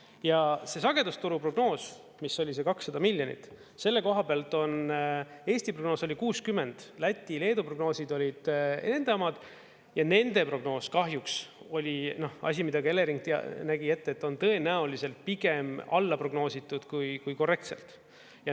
Ja see sagedusturu prognoos, mis oli see 200 miljonit, selle koha pealt Eesti prognoos oli 60, Läti, Leedu prognoosid olid enda omad ja nende prognoos kahjuks oli asi, mida ka Elering nägi ette, et on tõenäoliselt pigem alla prognoositud kui korrektselt.